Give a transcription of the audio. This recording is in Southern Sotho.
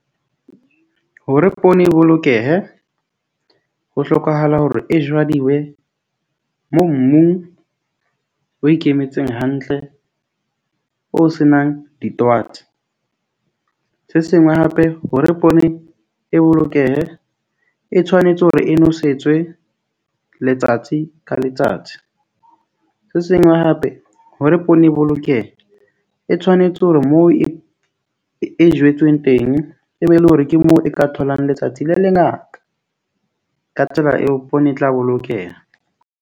Hore poone e bolokehe, ho hlokahala hore e jwadiwe mo mong o ikemetseng hantle.O senang di . Se sengwe hape, hore poone e bolokehe e tshwanetse hore e nosetswe letsatsi ka letsatsi. Se sengwe hape, hore poone e bolokehe, e tshwanetse hore moo e e jetsweng teng, e be e le hore ke moo e ka tholang letsatsi le le ngaka. Ka tsela eo poone e tla bolokeha.